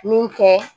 Min kɛ